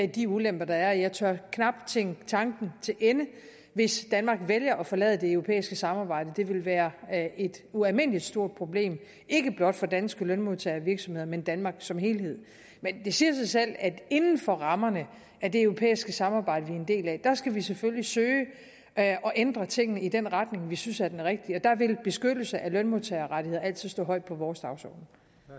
de ulemper der er jeg tør knap tænke tanken til ende hvis danmark skulle vælge at forlade det europæiske samarbejde det ville være et ualmindelig stort problem ikke blot for danske lønmodtagere og virksomheder men for danmark som helhed men det siger sig selv at inden for rammerne af det europæiske samarbejde vi er en del af skal vi selvfølgelig søge at ændre tingene i den retning vi synes er den rigtige og der vil beskyttelse af lønmodtagerrettigheder altid stå højt på vores dagsorden